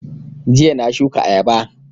Jiya na shuka ayaba